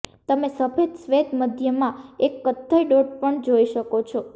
તમે સફેદ શ્વેત મધ્યમાં એક કથ્થઇ ડોટ પણ જોઈ શકો છો